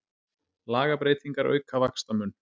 Lagabreytingar auka vaxtamun